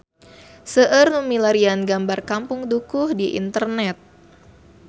Seueur nu milarian gambar Kampung Dukuh di internet